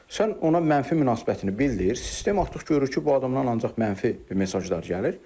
Sən ona mənfi münasibətini bildir, sistem artıq görür ki, bu adamdan ancaq mənfi mesajlar gəlir.